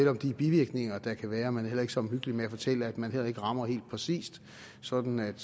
om de bivirkninger der kan være og man er heller ikke så omhyggelig med at fortælle at man heller ikke rammer helt præcist sådan at